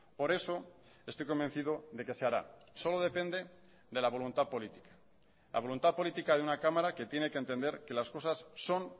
por eso estoy convencido de que se hará solo depende de la voluntad política la voluntad política de una cámara que tiene que entender que las cosas son